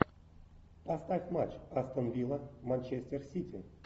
поставь матч астон вилла манчестер сити